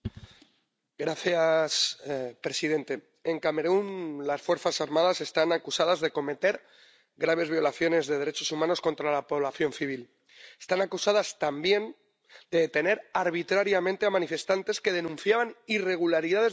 Señor presidente, en Camerún las fuerzas armadas están acusadas de cometer graves violaciones de derechos humanos contra la población civil. Están acusadas, también, de detener arbitrariamente a manifestantes que denunciaban irregularidades durante las últimas elecciones.